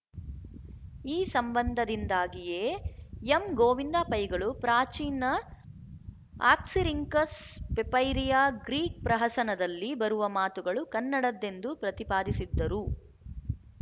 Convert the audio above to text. ಈ ಸಂಬಂಧದಿಂದಾಗಿಯೇ ಎಂಗೋವಿಂದ ಪೈಗಳು ಪ್ರಾಚೀನ ಆಕ್ಸಿರಿಂಕಸ್ ಪೆಪೈರಿಯ ಗ್ರೀಕ್ ಪ್ರಹಸನದಲ್ಲಿ ಬರುವ ಮಾತುಗಳು ಕನ್ನಡದ್ದೆಂದು ಪ್ರತಿಪಾದಿಸಿದ್ದರು